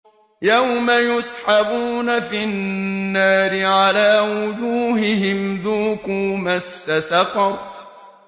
يَوْمَ يُسْحَبُونَ فِي النَّارِ عَلَىٰ وُجُوهِهِمْ ذُوقُوا مَسَّ سَقَرَ